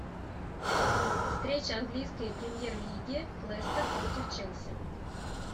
встреча английской премьер лиги лестер против челси